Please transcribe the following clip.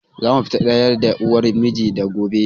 Za mu fita da ƴar uwar miji na gobe